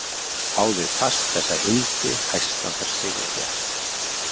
Háði fast þessa hildi hæstan þar sigur fékk.